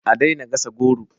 A daina gasa goro